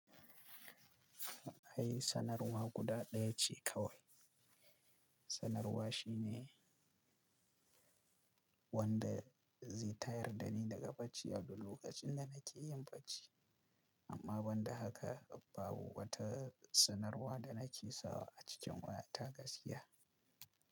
Ai sanarwa guda ɗaya ce kawai. Sanarwa shi ne wanda zai tayar dani daga bacci a duk lokacin da nake yin bacci. Amma banda haka babu wata sanarwa da nake sawa a cikin wayata gaskiya.